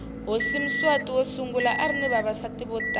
hhosi mswati wosungula arinavavasati votala